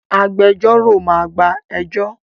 Agbẹjọ́rò máa gba ẹjọ́